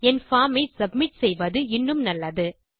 என் form ஐ submit செய்வது இன்னும் நல்லது